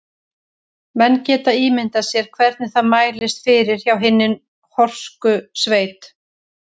Menn geta ímyndað sér hvernig það mælist fyrir hjá hinni horsku sveit.